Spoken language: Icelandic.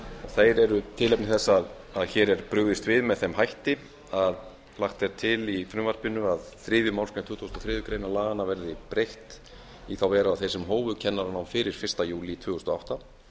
þeir eru tilefni þess að hér er brugðist við með þeim hætti að lagt er til í frumvarpinu að þriðju málsgrein tuttugustu og þriðju grein laganna verði breytt í þá veru að þeir sem hófu kennaranám fyrir fyrsta júlí tvö þúsund og átta